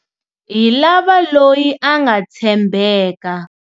hi lava loyi a nga tshembeka.